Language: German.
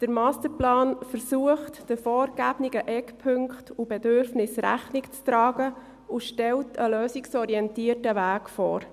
Der Masterplan versucht, den vorgegebenen Eckpunkten und Bedürfnissen Rechnung zu tragen und stellt einen lösungsorientierten Weg vor.